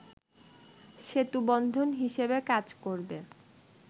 সেতুবন্ধন হিসেবে কাজ করবে